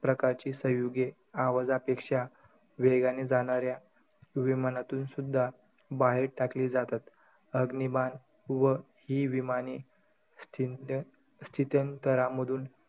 प्रकारची संयुगे आवाजापेक्षा वेगाने जाणार्‍या विमानातुनसुध्दा बाहेर टाकली जातात. अग्निबाण व ही विमाने स्थिनत्य~ स्थित्यंतरामधून,